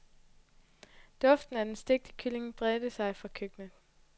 Duften af den stegte kylling breder sig fra køkkenet.